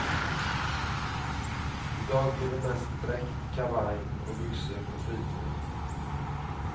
I dag blir det mest dräkt, kavaj och byxor på fritiden.